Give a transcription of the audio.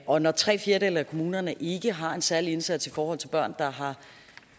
og når tre fjerdedele af kommunerne ikke har en særlig indsats i forhold til børn der har